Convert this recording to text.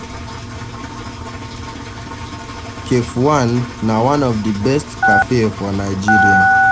Cafe one na one of the best cafe for Nigeria